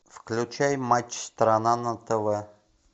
включай матч страна на тв